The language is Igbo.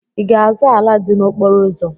Ị ga-azụ ala dị n'okporo ụzọ?